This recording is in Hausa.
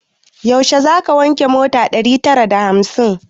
Yaushe zaka wanke mota ɗari tara na hamsin?